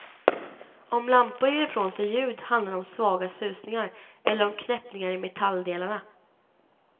Om lampor ger ifrån sig ljud handlar det om svaga susningar, eller om knäppningar i metalldelarna.